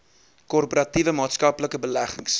korporatiewe maatskaplike beleggings